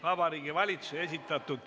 Vabariigi Valitsuse esitatud ...